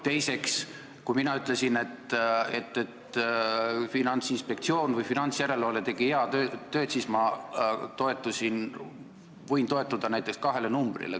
Teiseks, kui mina ütlesin, et Finantsinspektsioon või finantsjärelevalve tegi head tööd, siis ma võisin toetuda näiteks kahele numbrile.